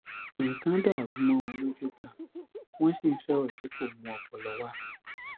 nnlkan dàrú mọ wọn lójú ganan wọn sì ń sọrọ tí kò mú ọpọlọ wá